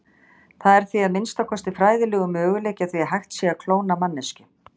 Það er því, að minnsta kosti fræðilegur, möguleiki á því hægt sé að klóna manneskju.